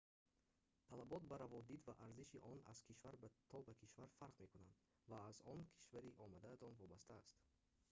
талабот ба раводид ва арзиши он аз кишвар то ба кишвар фарқ мекунанд ва он аз кишвари омадаатон вобастааст